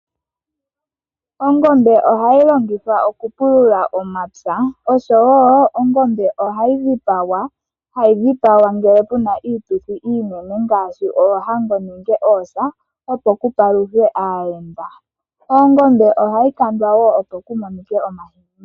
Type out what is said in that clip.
Ongombe ohayi longithwa okupulula omapya. Ongombe ohayi dhipagwa ngele puna iituthi iinene ngaashi oohango nenge oosa opo pu paluthwe aayenda. Ongombe ohayi kandwa wo opo pu monike omahini.